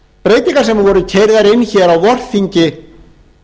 breytingar sem voru keyrðar inn hér á vorþingi